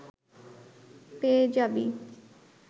পেয়ে যাবি